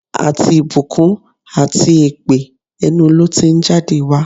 Àti ìbùkún àti èpè, ẹnu ló ti ń jáde wá.